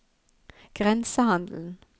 grensehandelen